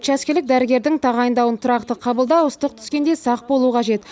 учаскелік дәрігердің тағайындауын тұрақты қабылдау ыстық түскенде сақ болу қажет